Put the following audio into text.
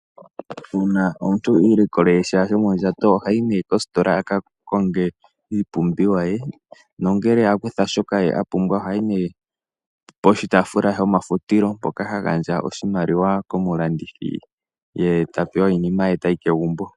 Uuna omuntu i ilikole sha shomondjato ohayi nee kostola a ka konge iipumbiwa ye, nongele a kutha shoka a pumbwa oha yi nee poshitaafula shomafutilo mpoka ha gandja oshimaliwa komulandithi, ye ta pewa iinima ye ta yi kegumbo.